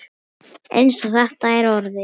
Eins og þetta er orðið.